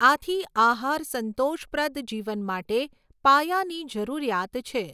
આથી આહાર સંતોષપ્રદ જીવન માટે પાયાની જરૂરિયાત છે.